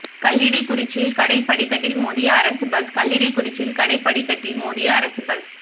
கல்லிடைக்குறிச்சியில் கடை படிக்கட்டில் மோதிய அரசு பஸ் கல்லிடைக்குறிச்சியில் கடை படிக்கட்டில் மோதிய அரசு பஸ்